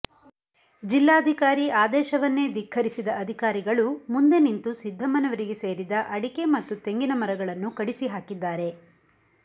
ಜಿಲ್ಲಾಧಿಕಾರಿ ಆದೇಶವನ್ನೇ ಧಿಕ್ಕರಿಸಿದ ಅಧಿಕಾರಿಗಳು ಮುಂದೆ ನಿಂತು ಸಿದ್ದಮ್ಮನವರಿಗೆ ಸೇರಿದ ಅಡಿಕೆ ಮತ್ತು ತೆಂಗಿನ ಮರಗಳನ್ನು ಕಡಿಸಿಹಾಕಿದ್ದಾರೆ